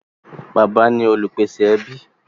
Bàbá ní Olupese ní bàbá.